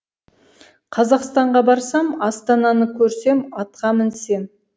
қазақстанға барсам астананы көрсем атқа мінсем